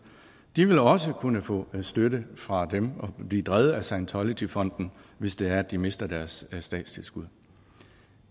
de vil også kunne få støtte fra dem og blive drevet af scientologyfonden hvis det er de mister deres statstilskud